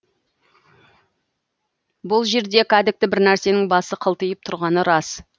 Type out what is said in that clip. бұл жерде кәдікті бір нәрсенің басы қылтиып тұрғаны рас